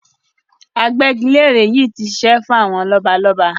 Agbẹ́gilére yìí ti ṣiṣẹ́ fún àwọn lọ́balọ́ba.